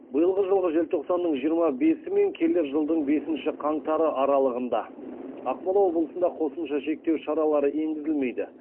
биылғы жылғы желтоқсанның жиырма бесі мен келер жылдың бесіншіші қаңтары аралығында ақмола облысында қосымша шектеу шаралары енгізілмейді